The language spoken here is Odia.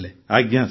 ଆଜ୍ଞା ସାର୍